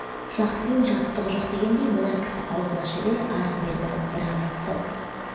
жақсының жаттығы жоқ дегендей мына кісі аузын аша бере арғы-бергіні бір-ақ айтты-ау